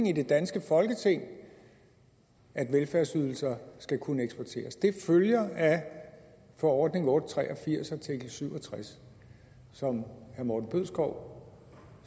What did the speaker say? i det danske folketing at velfærdsydelser skal kunne eksporteres det følger af forordning otte hundrede og tre og firs artikel syv og tres som herre morten bødskov